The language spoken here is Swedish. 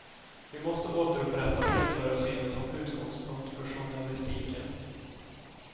Vi måste återupprätta medborgarsynen som utgångspunkt för journalistiken.